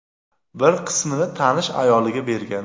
bir qismini tanish ayoliga bergan.